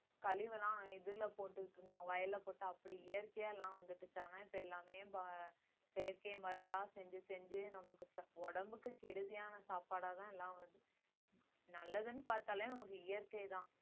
கழிவெல்லாம் இதுல போட்டுட்டு இருந்தாங்க வயல்ல போட்டு அப்படி இயற்கையா எல்லாம் வந்துட்டு இருக்காங்க. இப்ப எல்லாமே செயற்கை மருந்தா செஞ்சு செஞ்சு நமக்கு உடம்புக்கு கெடுதியான சாப்பாடாதான் எல்லாம் வருது நல்லதுன்னு பார்த்தாலே நமக்கு இயற்கைதான்